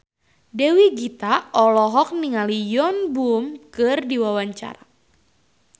Dewi Gita olohok ningali Yoon Bomi keur diwawancara